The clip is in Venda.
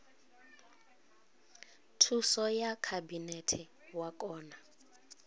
thuso ya khabinete wa kona